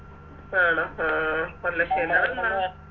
ആണോ ആഹ് ആഹ് അഹ്